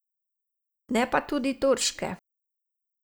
Ne pa tudi turške.